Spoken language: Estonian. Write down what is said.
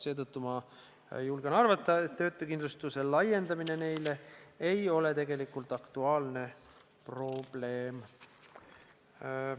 Seetõttu ma julgen arvata, et töötukindlustuse laiendamine neile ei ole tegelikult aktuaalne probleem.